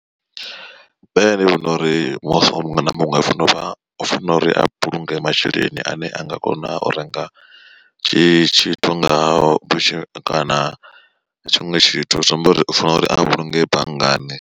Nṋe ndi vhona uri muthu muṅwe na muṅwe ufana uri a vhulunge masheleni ane a nga kona u renga tshithu nga o vhutshi kana tshiṅwe tshithu zwi amba uri ufana uri a vhulunge banngani.